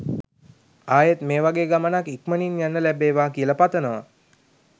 ආයෙත් මේ වගේ ගමනක් ඉක්මනින් යන්න ලැබේවා කියල පතනවා.